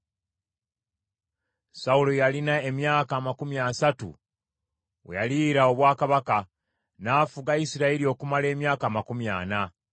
Sawulo yalina emyaka amakumi asatu we yaliira obwakabaka, n’afuga Isirayiri okumala emyaka amakumi ana.